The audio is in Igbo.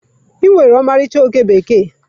Ị nwere ọmarịcha oke bekee.